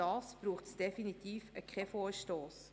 Dazu braucht es definitiv keinen Vorstoss.